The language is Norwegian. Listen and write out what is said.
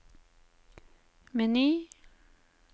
meny